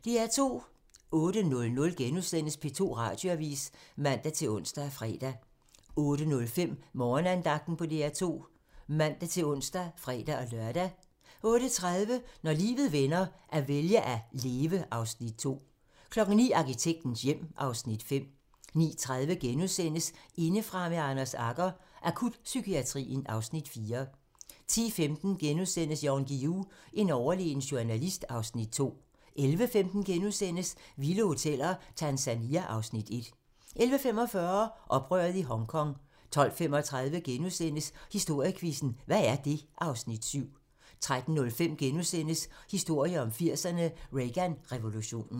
08:00: P2 Radioavis *(man-ons og fre-lør) 08:05: Morgenandagten på DR2 (man-ons og fre-lør) 08:30: Når livet vender - at vælge at leve (Afs. 2) 09:00: Arkitektens hjem (Afs. 5) 09:30: Indefra med Anders Agger - Akutpsykiatrien (Afs. 4)* 10:15: Jan Guillou - en overlegen journalist (Afs. 2)* 11:15: Vilde Hoteller - Tanzania (Afs. 1)* 11:45: Oprøret i Hongkong 12:35: Historiequizzen: Hvad er det? (Afs. 7)* 13:05: Historien om 80'erne: Reagan-revolutionen *